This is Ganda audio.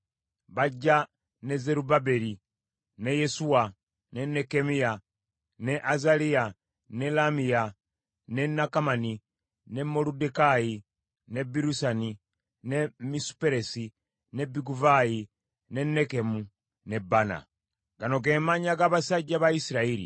Bajja ne Zerubbaberi, ne Yesuwa, ne Nekkemiya, ne Azaliya, ne Laamiya, ne Nakamani, ne Moluddekaayi, ne Birusani, ne Misuperesi, ne Biguvaayi, ne Nekumu ne Baana. Gano ge mannya g’Abasajja ba Isirayiri: